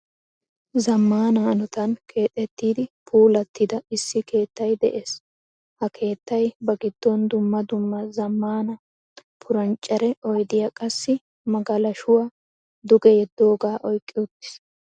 Zamaana hanottan keexettidi puulattida issi keettay de'ees. Ha keettay ba giddon dumma dumma zamaana purnichchere oydiyaa qassi magalashshuwaa duge yeedoga oyqqi uttiiis.